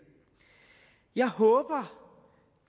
jeg håber